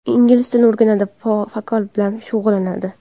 Ingliz tilini o‘rganadi, vokal bilan shug‘ullanadi.